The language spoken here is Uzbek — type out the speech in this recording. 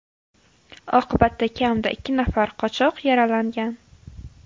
Oqibatda kamida ikki nafar qochoq yaralangan.